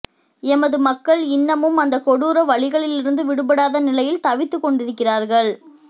எமது மக்கள் இன்னமும் அந்தக் கொடூர வலிகளிலிருந்து விடுபடாத நிலையில் தவித்துக் கொண்டிருக்கிறார்கள்